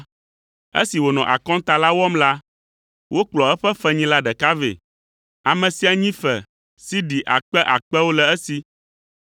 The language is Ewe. Esi wònɔ akɔnta la wɔm la, wokplɔ eƒe fenyila ɖeka vɛ; ame sia nyi fe sidi akpe akpewo le esi.